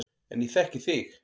En ég þekki þig.